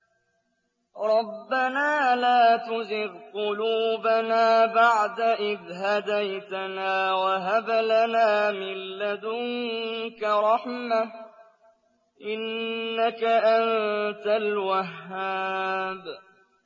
رَبَّنَا لَا تُزِغْ قُلُوبَنَا بَعْدَ إِذْ هَدَيْتَنَا وَهَبْ لَنَا مِن لَّدُنكَ رَحْمَةً ۚ إِنَّكَ أَنتَ الْوَهَّابُ